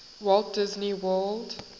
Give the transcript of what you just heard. walt disney world